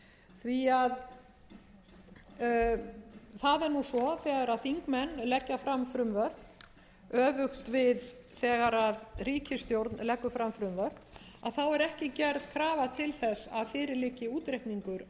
því að það er nú svo þegar þingmenn leggja fram frumvörp öfugt við þegar ríkisstjórn leggur fram frumvörp að þá er ekki gerð krafa til þess að fyrir liggi útreikningur